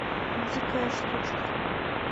дикая штучка